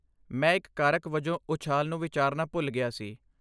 ਮੈਂ ਇੱਕ ਕਾਰਕ ਵਜੋਂ ਉਛਾਲ ਨੂੰ ਵਿਚਾਰਨਾ ਭੁੱਲ ਗਿਆ ਸੀ।